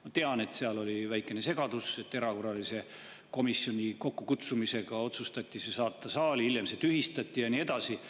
Ma tean, et seal oli väikene segadus, et komisjoni erakorralise kokkukutsumise järel otsustati see saata saali, aga hiljem see tühistati ja nii edasi.